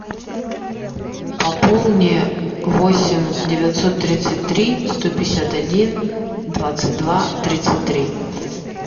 пополни восемь девятьсот тридцать три сто пятьдесят один двадцать два тридцать три